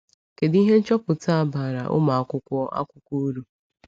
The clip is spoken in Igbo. Kedu ihe nchọpụta a bara ụmụ akwụkwọ akwụkwọ uru?